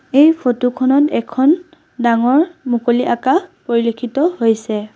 এই ফটো খনত এখন ডাঙৰ মুকলি আকাশ পৰিলক্ষিত হৈছে।